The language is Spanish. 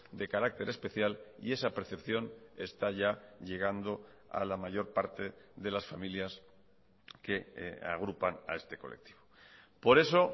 de carácter especial y esa percepción está ya llegando a la mayor parte de las familias que agrupan a este colectivo por eso